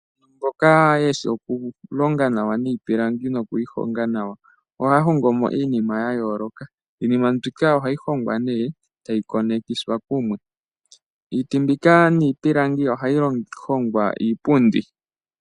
Mboka yeshi oku longa nawa niipilangi noku yi honga nawa. Oha hongo mo iinima yayooloka. Iinima mbika ohayi hongwa nee etayi konekiswa kumwe. Iiti mbika niipilangi ohayi hongwa iipundi.